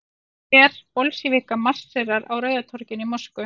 Her Bolsévíka marserar á Rauða torginu í Moskvu.